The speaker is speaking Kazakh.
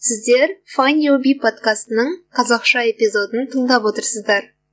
сіздер файнд ю би подкастының қазақша эпизодын тыңдап отырсыздар